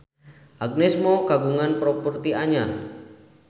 Agnes Mo kagungan properti anyar